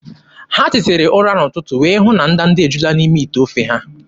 Ha tetara ụra n'ụtụtụ wee hụ na ndanda ejuola n'ime ite ofe ha.